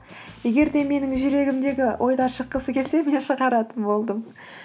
егер де менің жүрегімдегі ойлар шыққысы келсе мен шығаратын болдым